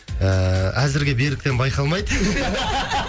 ііі әзірге беріктен байқалмайды